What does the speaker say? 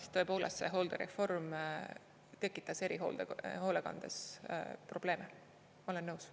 Sest tõepoolest, see hooldereform tekitas erihoolekandes probleeme, ma olen nõus.